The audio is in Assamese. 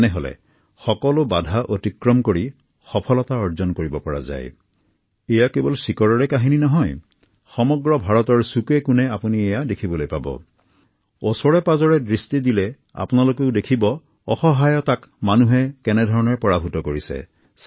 এই যুৱতীসকল এতিয়া স্বাৱলম্বী হৈছে সন্মান সহকাৰে জীৱন নিৰ্বাহ কৰিব পৰা হৈছে আৰু নিজৰ নিজৰ পৰিয়ালক আৰ্থিকভাৱে সহায় কৰিব পাৰিছে